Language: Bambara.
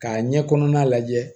K'a ɲɛ kɔnɔna lajɛ